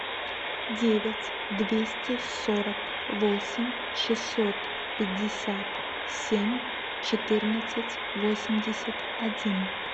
девять двести сорок восемь шестьсот пятьдесят семь четырнадцать восемьдесят один